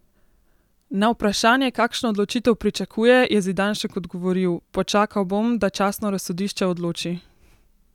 Na vprašanje, kakšno odločitev pričakuje, je Zidanšek odgovoril: "Počakal bom, da častno razsodišče odloči.